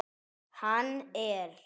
Hann er.